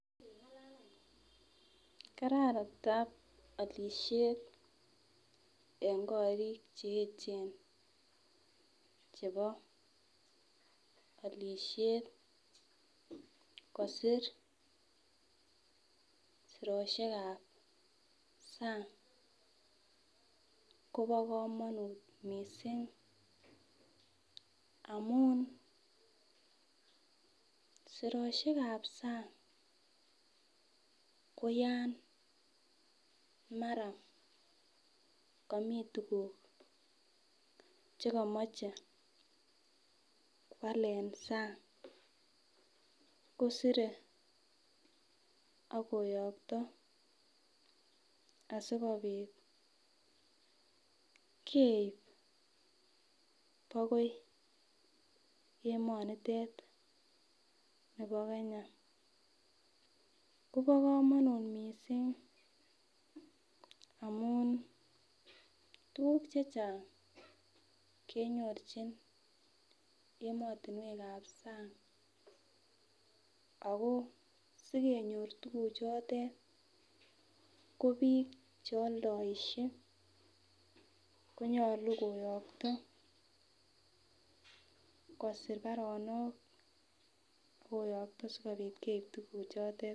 Kararadap olishet en korik cheyechen chebo olishet kosir siroshekab sang Kobo komonut missing amun siroshekab sang koyan mara komi tukuk chekomoche kwal en sang kosire ak koyokto asikopit keib akoi emonitet nibo Kenya Kobo komonut amun tukuk chechang kenyorchin emotunwekab sang ako simenyor tukuk chotet ko bik cheoldoishek konyolu koyokto kosir baronok ak koyokto sikopit keib tukuk chotet.